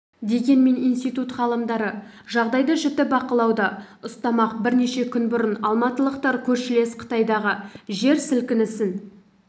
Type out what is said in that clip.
дегенмен институт ғалымдары жағдайды жіті бақылауда ұстамақ бірнеше күн бұрын алматылықтар көршілес қытайдағы жер сілкінісін